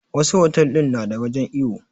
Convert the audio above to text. Wassu otel din na da wajen iyo